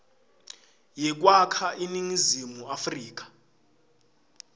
yekwakha iningizimu afrika